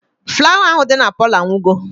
Flawa ahụ dị na Palọ anwụgo